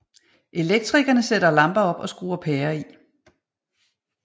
Elektrikerne sætter lamper op og skruer pærer i